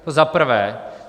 To za prvé.